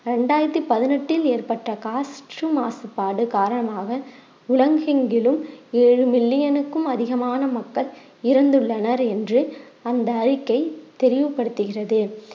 இரண்டாயிரத்தி பதிணெட்டில் ஏற்பட்ட காற்று மாசுபாடு காரணமாக உலகெங்கிலும் ஏழு million னுக்கும் அதிகமான மக்கள் இருந்துள்ளனர் என்று அந்த அறிக்கை தெளிவுபடுத்துகிறது